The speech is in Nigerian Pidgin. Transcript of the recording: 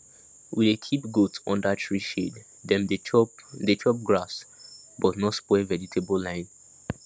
we dey keep goat under tree shade dem dey chop dey chop grass but no spoil vegetable line